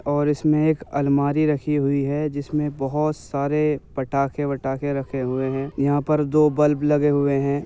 और इसमें एक अलमारी रखी हुई है जिसमें बोहोत सारे पटाखे वटाखे रखे हुए हैं। यहां पर दो बल्ब लगे हुए हैं।